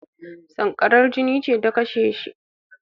Sankarar jini ce ta kashe shi